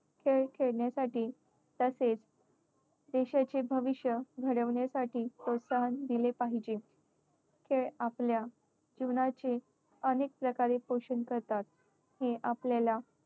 खेळ खेळण्यासाठी तसेच देशाचे भविष्य घडविण्यासाठी प्रोत्साहन दिले पाहिजे. खेळ आपल्या जीवनाचे अनेक प्रकारे पोषण करतात. हे आपल्याला